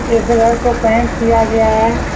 इस दीवार को पेंट किया गया है।